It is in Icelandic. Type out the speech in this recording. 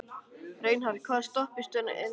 Reinhart, hvaða stoppistöð er næst mér?